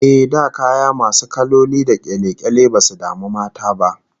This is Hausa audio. Eh, da kaya masu kaloli da kyale-kyale basu damu mata ba